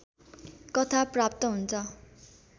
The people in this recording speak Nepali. कथा प्राप्त हुन्छ